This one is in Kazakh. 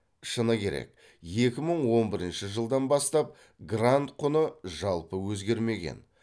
шыны керек екі мың он бірінші жылдан бастап грант құны жалпы өзгермеген